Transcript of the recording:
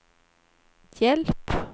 hjälp